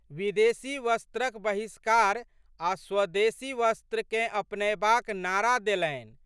विदेशी वस्त्रक बहिष्कार आ' स्वदेशी वस्त्रकेँ अपनयबाक नारा देलनि।